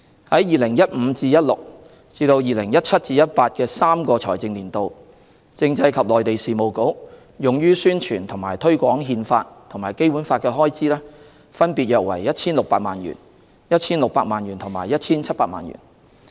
在 2015-2016 至 2017-2018 的3個財政年度，政制及內地事務局用於宣傳及推廣《憲法》及《基本法》的開支，分別約 1,600 萬元、1,600 萬元和 1,700 萬元。